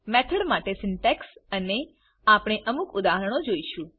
method માટે syntax અને આપણે અમુક ઉદાહરણો જોઈશું